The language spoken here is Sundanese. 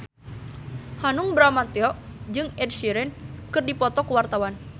Hanung Bramantyo jeung Ed Sheeran keur dipoto ku wartawan